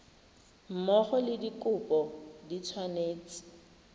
mmogo le dikopo di tshwanetse